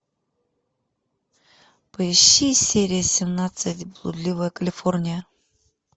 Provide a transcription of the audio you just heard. поищи серия семнадцать блудливая калифорния